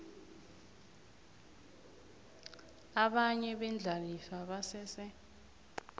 abanye beendlalifa basese